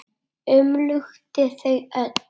Umlukti þau öll.